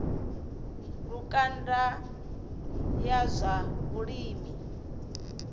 lukanda ya zwa vhulimi yo